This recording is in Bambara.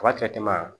Ka